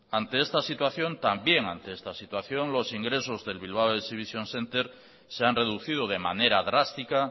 ante esta situación también ante esta situación los ingresos del bilbao exhibition centre se han reducido de manera drástica